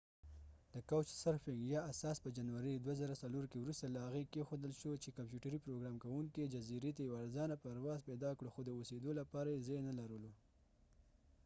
د کاوچ سرفنګ یا couch surfing اساس په جنوری 2004 کې وروسته له هغې کیښودل شو چې کمپیوتر پروګرام کوونکي casey fenton جزیرې ته یو ارزانه پرواز پیدا کړو خو د اوسیدلو لپاره یې ځای نلرلو